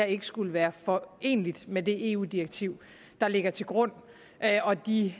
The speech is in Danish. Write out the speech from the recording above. ikke skulle være foreneligt med det eu direktiv der ligger til grund og de